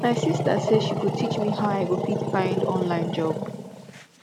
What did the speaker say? my sista sey she go teach me how i go fit find online job